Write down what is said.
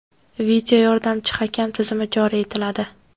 video yordamchi hakam) tizimi joriy etiladi.